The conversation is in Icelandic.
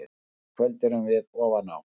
Í kvöld erum við ofan á.